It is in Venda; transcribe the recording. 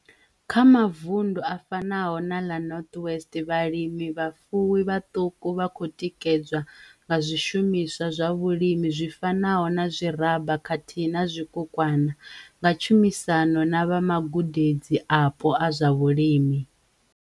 Kha mavundu a fanaho na ḽa North West, vhalimivhafuwi vhaṱuku vha khou tikedzwa nga zwishumiswa zwa vhulimi zwi fanaho na zwiraba khathihi na zwikukwana, nga tshumisano na vha magudedzi apo a zwa vhulimi.